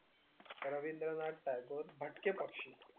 रविंद्रनाथ टागोर भटके पक्षी